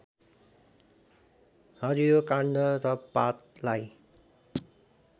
हरियो काण्ड र पातलाई